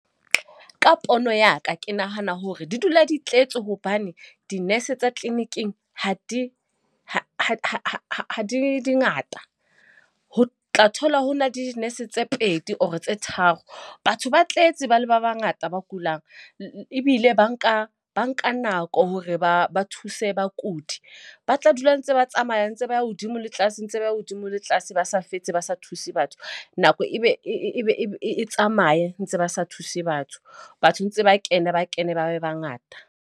Ka pono ya ka ke nahana hore di dula di tletse hobane di-nurse tsa clinic-ing ha di ha di ngata. Ho o tla thola ho na di-nurse tse pedi or tse tharo. Batho ba tletse ba le ba bangata ba kulang ebile ba nka ba nka nako hore ba ba thuse bakudi. Ba tla dula ntse ba tsamaya. Ntse ba ya hodimo le tlase ntse ba ya hodimo le tlase, ba sa fetse ba sa thuse batho. Nako e be e be e tsamaye ntse ba sa thuse batho. Batho ntse ba kena, ba kene ba be bangata.